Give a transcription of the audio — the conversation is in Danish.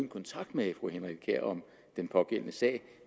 kontakt med fru henriette kjær om den pågældende sag